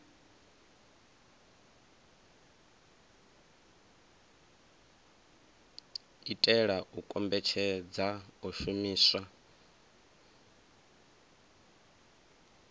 itela u kombetshedza u shumiswa